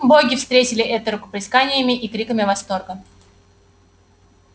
боги встретили это рукоплесканиями и криками восторга